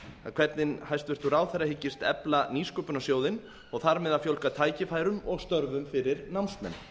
hvernig hæstvirtur ráðherra hyggist efla nýsköpunarsjóðinn og þar með að fjölga tækifærum og störfum fyrir námsmenn